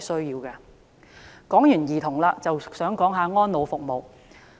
談過兒童的問題，就想談談安老服務。